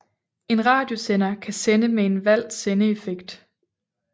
En radiosender kan sende med en valgt sendeeffekt